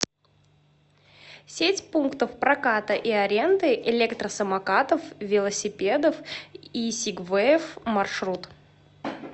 сеть пунктов проката и аренды электросамокатов велосипедов и сигвеев маршрут